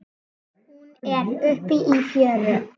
Hún er uppi í fjöru.